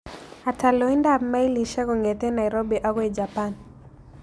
Ata loindap mailisiek kong'eten nairobi agoi japan